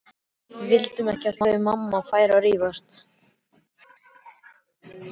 Við vildum ekki að þau mamma færu að rífast.